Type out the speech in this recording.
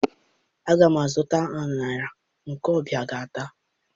Aga m azụta aṅara ndị ọbịa ga-ata